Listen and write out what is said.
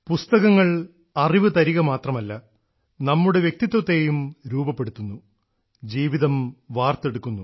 പുസ്തകങ്ങൾ അറിവ് തരുക മാത്രമല്ല നമ്മുടെ വ്യക്തിത്വത്തേയും രൂപപ്പെടുത്തുന്നു ജീവിതം വാർത്തെടുക്കുന്നു